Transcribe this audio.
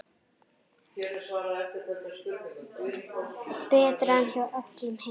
Betra en hjá öllum hinum.